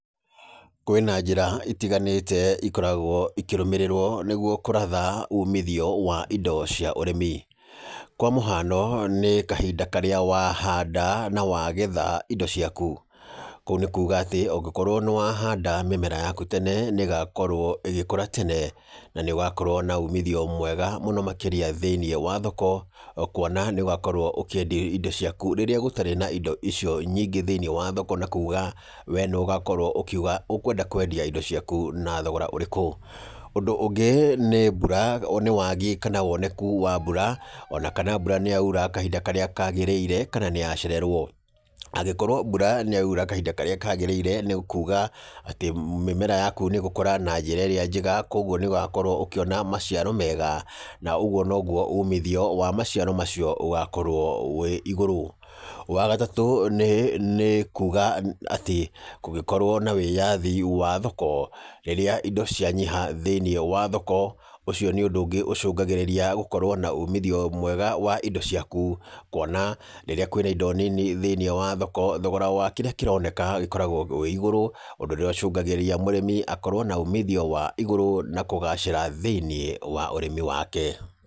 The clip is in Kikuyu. Kwĩna njĩra itiganĩte ikoragwo ikĩrũmĩrĩrwo nĩgwo kũratha umithio wa indo cia ũrĩmi. Kwa mũhano nĩ kahinda karĩa wahanda na wagetha indo ciaku. Kũu nĩ kuuga atĩ ũngĩkorwo nĩ wahanda mĩmera yaku tene nĩ ĩgakorwo ĩgĩkũra tene na nĩ ũgakorwo na umithio mwega muno makĩria thĩ~inĩ wa thoko kwona nĩ ũgakorwo ũkĩendia ĩndo ciaku rĩrĩa gũtarĩ na indo icio nyingĩ thĩ~inĩ wa thoko na kuga we nĩwe ũgakorwo ũkiuga ũkwenda kwendia indo ciaku na thogora ũrĩku. Ũndũ ũngĩ nĩ wagi kana woneku wa mbura ona kana mbura nĩ yaura kahinda karĩa kagĩrĩire kana nĩ yacererwo. Angĩkorwo mbura nĩ yaura kahinda karĩa kagĩrĩire nĩ kuga atĩ mĩmera yaku nĩ gũkũra na njĩra ĩrĩa njega kogwo nĩ ũgakorwo ũkĩona maciaro mega na ũgwo nogwo umithio wa maciaro macio ũgakorwo wĩ igũrũ. Wagatũ nĩ kuga atĩ kũngĩkorwo na wĩyathi wa thoko rĩrĩa indo cianyiha thĩ~inĩ wa thoko ũcio nĩ ũndũ ũngĩ ũcũngagĩrĩria gũkorwo na umithio mwega wa indo ciaku kwona rĩrĩa kwĩna indo nini thĩ~inĩ wa thoko thogora wa kĩrĩa kĩroneka gĩkoragwo wĩ igũrũ. Ũndũ ũrĩa ũcũngagĩrĩria mũrĩmi akorwo na umithio wa igũrũ na kũgacĩra thĩ~inĩ wa ũrĩmi wake.